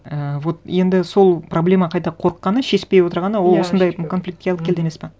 ііі вот енді сол проблема қайта қорыққаны шешпей отырғаны ол осындай конфликтке алып келді емес пе